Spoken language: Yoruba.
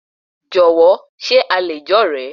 Jọ̀wọ́, ṣe a lè jẹ́ ọ̀rẹ́?